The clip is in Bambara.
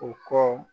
O kɔ